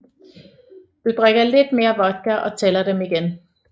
Du drikker lidt mere vodka og tæller dem igen